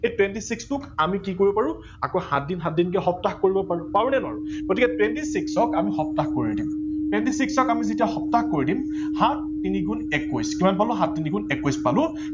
এই twenty six টো আমি কি কৰিব পাৰো আকৌ সাত দিন সাত দিনকে সপ্তাহ কৰিব পাৰু। পাৰো নে নোৱাৰো গতিকে twenty six ক আমি সপ্তাহ কৰি দিম twenty six ক আমি যেতিয়া সপ্তাহ কৰি দিম, সাত তিনি গুন একৈশ কিমান পালো সাত তিনি গুন একৈশ পালো।